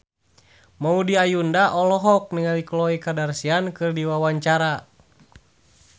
Maudy Ayunda olohok ningali Khloe Kardashian keur diwawancara